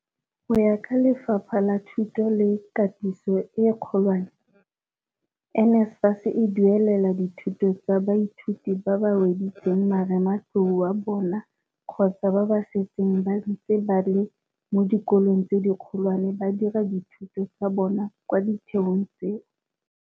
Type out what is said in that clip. Go ya ka Lefapha la Thuto le Katiso e Kgolwane, NSFAS e duelela dithuto tsa baithuti ba ba weditseng marematlou wa bona kgotsa ba ba setseng ba ntse ba le mo dikolong tse dikgolwane ba dira dithuto tsa bona kwa ditheong tseo.